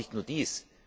Aber nicht nur dies.